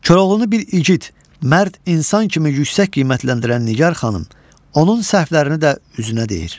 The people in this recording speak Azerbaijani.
Koroğlunu bir igid, mərd insan kimi yüksək qiymətləndirən Nigar xanım, onun səhvlərini də üzünə deyir.